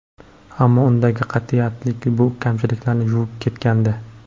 Ammo undagi qat’iyatlilik bu kamchiliklarni yuvib ketgandi.